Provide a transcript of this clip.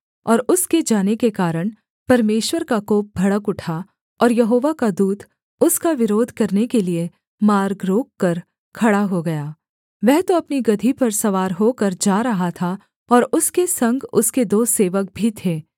और उसके जाने के कारण परमेश्वर का कोप भड़क उठा और यहोवा का दूत उसका विरोध करने के लिये मार्ग रोककर खड़ा हो गया वह तो अपनी गदही पर सवार होकर जा रहा था और उसके संग उसके दो सेवक भी थे